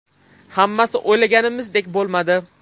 Hammasi o‘ylaganimizdek bo‘lmadi.